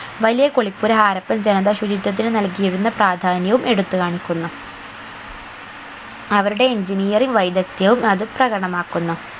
വലിയകുളിപ്പുര ഹാരപ്പൻ ജനത ശുചിത്വത്തിന് നൽകിയിരുന്ന പ്രധാന്യവും എടുത്ത് കാണിക്കുന്നു അവരുടെ engineering വൈദഗ്ധ്യവും അത് പ്രകടമാക്കുന്നു